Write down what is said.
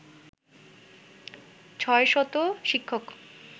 ৬শত শিক্ষক